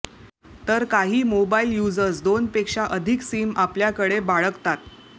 तर काही mobile users दोनपेक्षा अधिक सिम आपल्याकडे बाळगतात